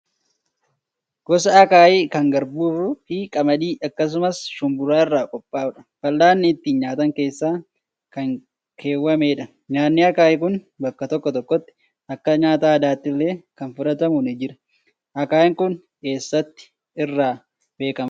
Gosa akaayii kan garbuu fi qamadii akkasumas shumburaa irraa qophaa'udha. fal'aanni ittiin nyaatan keessa kan keewwamedha. Nyaanni akaayii kun bakka tokko tokkotti akka nyaata aadaattillee kan fudhatamu ni jira. Akaayiin kun eessatti irra beekamaadha?